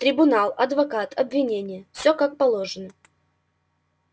трибунал адвокат обвинение всё как положено